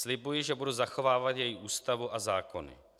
Slibuji, že budu zachovávat její Ústavu a zákony.